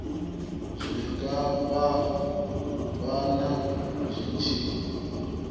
zwi nga fhambana zwi tshi